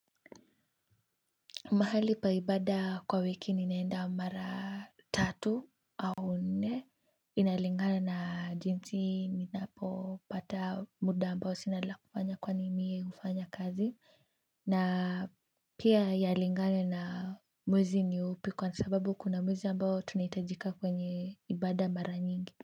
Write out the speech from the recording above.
Mahali pa ibada kwa wiki ninaenda mara tatu au nne inalingana na jinsi ninapopata muda ambao sina la kufanya kwani mie hufanya kazi na pia yalingana na mwezi ni upi kwa sababu kuna mwezi ambao tunahitajika kwenye ibada mara nyingi.